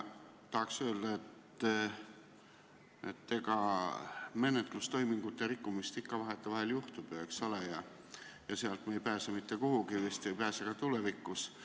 Tahaks öelda, et eks menetlustoimingute rikkumist ikka vahetevahel juhtub, sellest ei pääse me vist mitte kuhugi, ei pääse ka tulevikus.